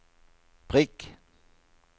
prikk